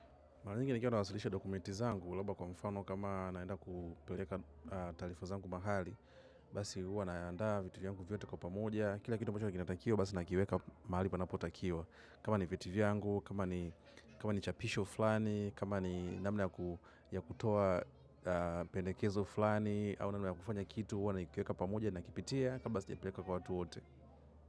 Mara nyingi nikiwa nawasilisha dokumenti zangu, labda kwa mfano kama naenda kupeleka taarifa zangu mahali, basi huwa naandaa, vitu vyangu vyote kwa pamoja, kila kitu ambacho kinatakiwa, basi nakiweka mahali panapotakiwa. Kama ni vyeti vyangu, kama ni chapisho fulani, kama ni namna ya kutoa pendekezo fulani au namna ya kufanya kitu huwa nakiweka pamoja nakipitia kabla sijapeleka kwa watu wote.